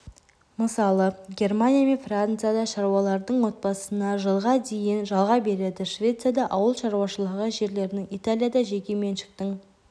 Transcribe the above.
мысалы германия мен фрацияда шаруалардың отбасына жылға дейін жалға береді швецияда ауылшаруашылығы жерлерінің италияда жеке меншіктің